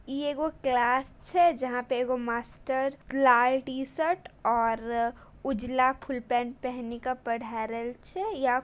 इ एगो क्लास छे जहाँ पे एगो मास्टर लाल टीशर्ट और उजला फुल पेंट पहनी के पढ़ा रहल छे।